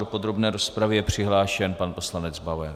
Do podrobné rozpravy je přihlášen pan poslanec Bauer.